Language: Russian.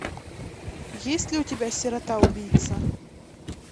есть ли у тебя сирота убийца